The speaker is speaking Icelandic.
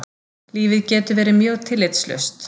Lífið getur verið mjög tillitslaust.